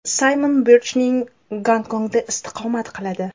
Saymon Birchning Gonkongda istiqomat qiladi.